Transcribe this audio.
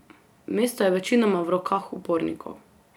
Mesto je večinoma v rokah upornikov.